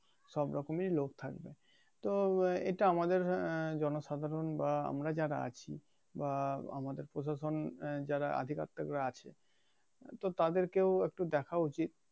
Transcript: সব রকমেরই লোক থাকবে তো এইটা আমাদের আহ আমরা জনসাধারন বা আমরা যারা আছি বা আমদের প্রশাসন যারা আধিপত্যকরা আছে তো তাদেরকেও একটু দেখা উচিত